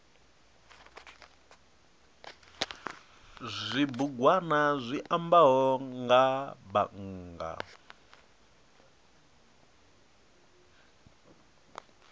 zwibugwana zwi ambaho nga bannga